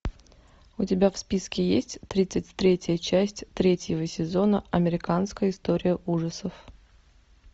у тебя в списке есть тридцать третья часть третьего сезона американская история ужасов